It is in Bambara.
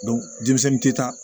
denmisɛnnin tɛ taa